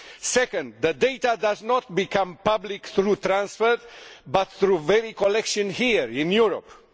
Second, the data does not become public through transfer but through collection here in Europe.